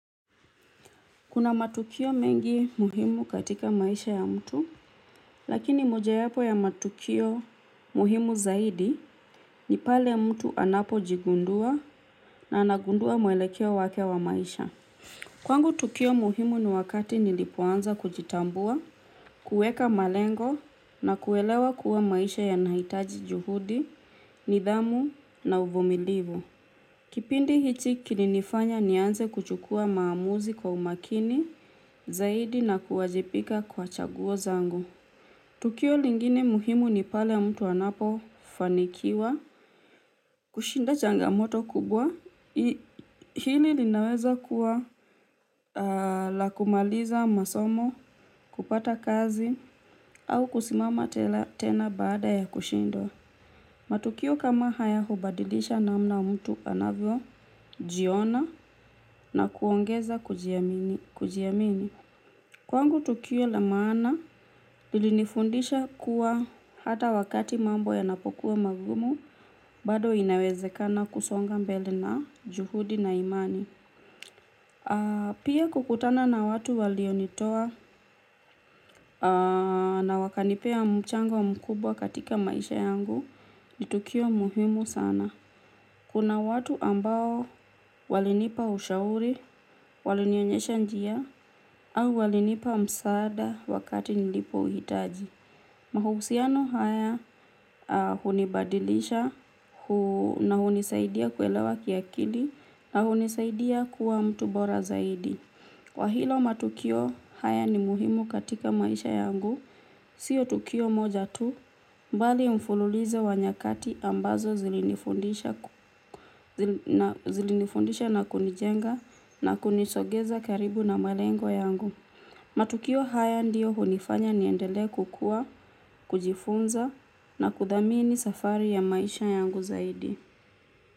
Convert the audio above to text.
Kuna matukio mengi muhimu katika maisha ya mtu, lakini mojawapo ya matukio muhimu zaidi, ni pale mtu anapo jigundua na anagundua muelekeo wake wa maisha. Kwangu tukio muhimu ni wakati nilipoanza kujitambua, kuweka malengo na kuelewa kuwa maisha yanahitaji juhudi, nidhamu na uvumilivu. Kipindi hicho kilinifanya nianze kuchukua maamuzi kwa umakini zaidi na kuwajibika kwa chaguo zangu. Tukio lingine muhimu ni pale mtu anapo fanikiwa kushinda changamoto kubwa hili linaweza kuwa la kumaliza masomo, kupata kazi au kusimama tena baada ya kushindwa. Matukio kama haya hubadilisha namna mtu anavyojiona na kuongeza kujiamini. Kwangu tukio lamaana lilinifundisha kuwa hata wakati mambo yanapokuwa magumu bado inawezekana kusonga mbele na juhudi na imani. Pia kukutana na watu walionitoa na wakanipa mchango mkubwa katika maisha yangu nitukio muhimu sana. Kuna watu ambao walinipa ushauri, walinionyesha njia, au walinipa msaada wakati nilipo uhitaji. Mahusiano haya hunibadilisha na hunisaidia kuelewa kiakili na hunisaidia kuwa mtu bora zaidi. Kwahiyo matukio haya ni muhimu katika maisha yangu, sio tukio moja tu bali mfululizo wa nyakati ambazo zilinifundisha ku zilinifundisha na kunijenga, na kunisogeza karibu na malengo yangu. Matukio haya ndio hunifanya niendele kukua, kujifunza na kudhamini safari ya maisha yangu zaidi.